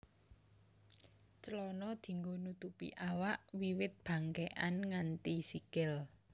Clana dianggo nutupi awak wiwit bangkékan nganti sikil